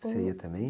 Que você ia também?